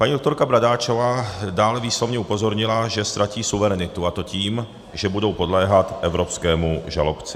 Paní doktorka Bradáčová dále výslovně upozornila, že ztratí suverenitu, a to tím, že budou podléhat evropskému žalobci.